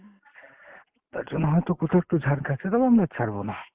তার জন্য হয়তো কোথাও একটু ঝাড় খাচ্ছে, তবে আমরা ছাড়বো না।